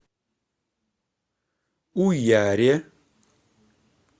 уяре